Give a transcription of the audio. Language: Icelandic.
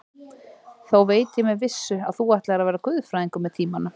Þó veit ég með vissu, að þú ætlar að verða guðfræðingur með tímanum.